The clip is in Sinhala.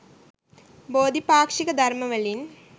බෝධි පාක්‍ෂික ධර්ම වලින්